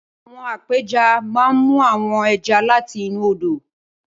Awòn ápèjá má n mú áwòn èjá làtí inú ódó